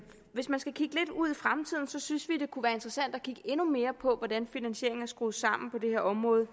hvis man skal kigge lidt ud i fremtiden synes vi det kunne være interessant at kigge endnu mere på hvordan finansieringen er skruet sammen på det her område